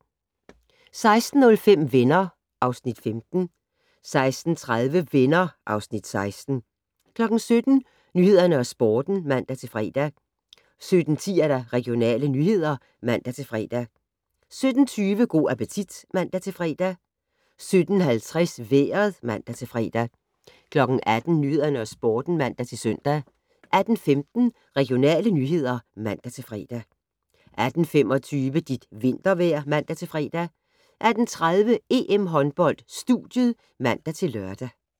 16:05: Venner (Afs. 15) 16:30: Venner (Afs. 16) 17:00: Nyhederne og Sporten (man-fre) 17:10: Regionale nyheder (man-fre) 17:20: Go' appetit (man-fre) 17:50: Vejret (man-fre) 18:00: Nyhederne og Sporten (man-søn) 18:15: Regionale nyheder (man-fre) 18:25: Dit vintervejr (man-fre) 18:30: EM-håndbold: Studiet (man-lør)